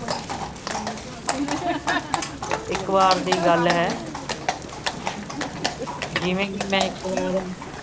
ਇੱਕ ਵਾਰ ਦੀ ਗੱਲ ਹੈ। ਜਿਵੇ ਕਿ ਮੈਂ ਇੱਕ ਵਾਰ